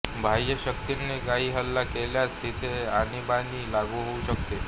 बाह्यशक्तींनी काही हल्ला केल्यासच तिथे आणीबाणी लागू होऊ शकते